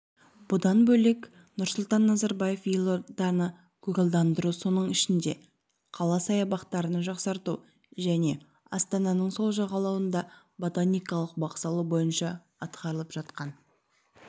бұдан бөлек нұрсұлтан назарбаев елорданы көгалдандыру соның ішінде қала саябақтарын жақсарту және астананың сол жағалауында ботаникалық бақ салу бойынша атқарылып жатқан